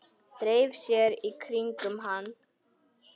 Dreifi sér í kringum hann.